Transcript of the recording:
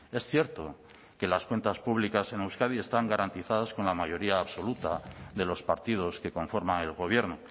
es cierto que las cuentas públicas en euskadi están garantizados con la mayoría absoluta de los partidos que conforman el gobierno